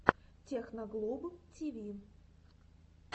техноглоб тиви